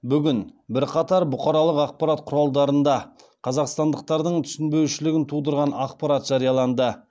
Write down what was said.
бүгін бірқатар бұқаралық ақпарат құралдарында қазақстандықтардың түсінбеушілігін тудырған ақпарат жарияланды